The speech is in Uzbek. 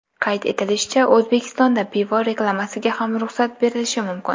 Qayd etilishicha, O‘zbekistonda pivo reklamasiga ham ruxsat berilishi mumkin.